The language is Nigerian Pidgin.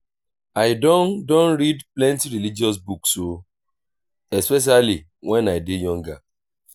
i don don read plenty religious book o especially wen i dey younger